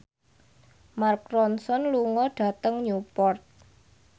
Mark Ronson lunga dhateng Newport